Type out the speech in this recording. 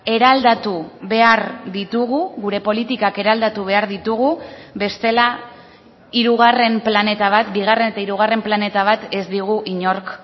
eraldatu behar ditugu gure politikak eraldatu behar ditugu bestela hirugarren planeta bat bigarren eta hirugarren planeta bat ez digu inork